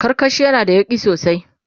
karkashi yana da yauƙi sosai